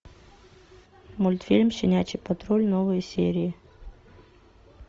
мультфильм щенячий патруль новые серии